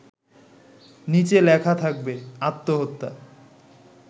নিচে লেখা থাকবে, আত্মহত্যা